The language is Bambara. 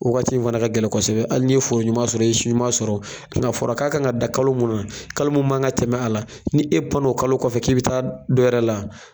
O waati fɛnɛ ka gɛlɛ kosɛbɛ wagati ali ni ye foro ɲuman sɔrɔ i ye si ɲuman sɔrɔ o ng'a fɔra k'a kan ka dan kalo munna kalo mu man ka tɛmɛ a la ni e pana o kalo kɔfɛ k'i bi taa dɔnwɛrɛ la